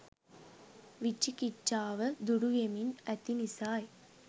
විචිකිච්චාව දුරු වෙමින් ඇති නිසායි.